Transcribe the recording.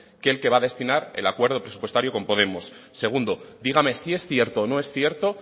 que el que va a destinar el acuerdo presupuestario con podemos segundo dígame si es cierto o no es cierto